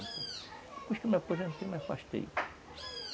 Depois que eu me aposentei, me afastei.